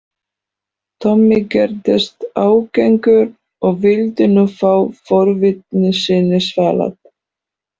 Tommi gerðist ágengur og vildi nú fá forvitni sinni svalað.